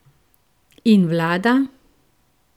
In vlada?